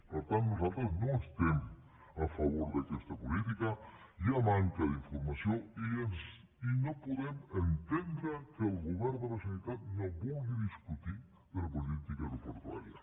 per tant nosaltres no estem a favor d’aquesta política hi ha manca d’informació i no podem entendre que el govern de la generalitat no vulgui discutir de la política aeroportuària